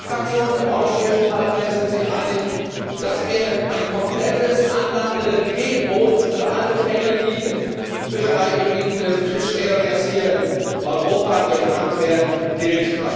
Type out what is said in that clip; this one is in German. Alle Fraktionen im Europäischen Parlament sind sich einig, dass ein komplettes Anlandegebot für alle Fänge, die in Fischereigebieten hier in Europa gefangen werden, gilt.